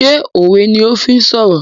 Ṣé òwe ni o fi ń sọ̀rọ̀?